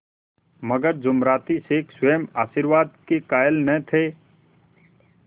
मगर जुमराती शेख स्वयं आशीर्वाद के कायल न थे